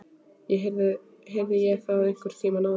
Heyrði ég það einhvern tíma áður?